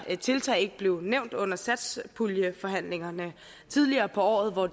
tiltag ikke blev nævnt under satspuljeforhandlingerne tidligere på året hvor